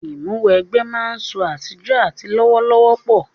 Ìmúw'ẹgbẹ́ máa ń sọ àtijọ́ àti lọ́wọ́lọ́wọ́ pọ̀